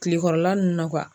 Kilekɔrɔla nunnu na